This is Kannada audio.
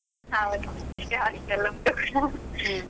ಹೌದು, hostel .